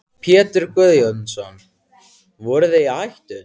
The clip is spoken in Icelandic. Pétur Guðjónsson: Voruð þið í hættu?